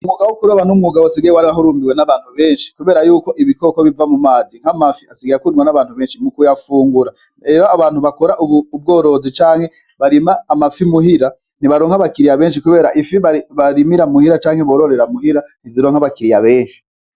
Umugabo ukuroba n'umugabo asigaye wari ahurumbiwe n'abantu benshi, kubera yuko ibikoko biva mu mazi nk'amafi asigaye kundwa n'abantu benshi mu kuyafungura ero abantu bakora ubworozi canke barima amafi muhira ntibaro nka abakiriya benshi, kubera ifi barimira muhira canke bororera muhira ntiziro nk'abakiriya benshi.